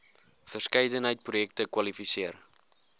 verskeidenheid projekte kwalifiseer